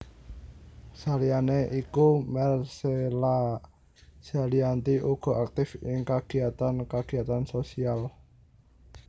Saliyané iku Marcella Zalianty uga aktif ing kagiyatan kagiyatan sosial